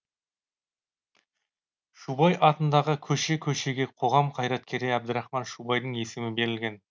шубай атындағы көше көшеге қоғам қайраткері әбдірахман шубайдың есімі берілген